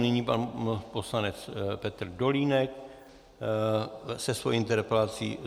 Nyní pan poslanec Petr Dolínek se svou interpelací.